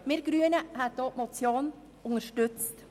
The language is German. Die grüne Fraktion hätte auch die Motion unterstützt.